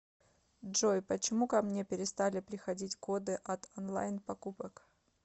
джой почему ко мне перестали приходить коды от онлайн покупок